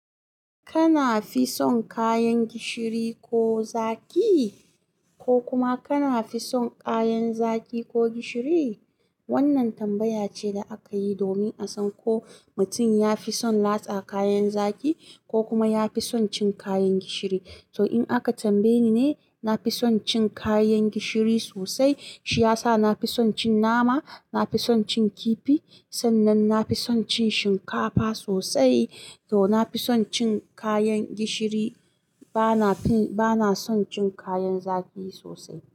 Kana fi son kayan gishiri ko zaƙi? Ko kuma kana fi son kayan zaƙi ko gishiri? Wannan tambaya ce da aka yi domin a san ko mutum ya fi son latsa kayan zaƙi ko kuma ya fi son cin kayan gishiri. To, in aka tambaye ni ne, na fi son cin kayan gishiri sosai. Shi ya sa na fi son cin nama, na fi son cin kifi. Sannan na fi son cin shinkafa sosai. To, na fi son cin kayan gishiri, bana fi, bana son cin kayan zaƙi sosai.